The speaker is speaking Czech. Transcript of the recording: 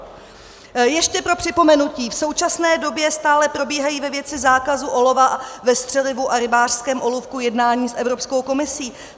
Ještě pro připomenutí, v současné době stále probíhají ve věci zákazu olova ve střelivu a rybářském olůvku jednání s Evropskou komisí.